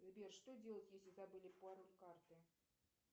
сбер что делать если забыли пароль карты